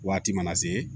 Waati mana se